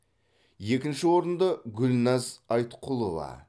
екінші орынды гүлназ айтқұлова